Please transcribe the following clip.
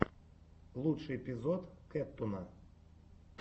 лучший эпизод кэттуна